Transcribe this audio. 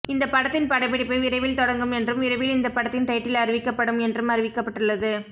இந்த படத்தின் படப்பிடிப்பு விரைவில் தொடங்கும் என்றும் விரைவில் இந்த படத்தின் டைட்டில் அறிவிக்கப்படும் என்றும் அறிவிக்கப்பட்டுள்ளது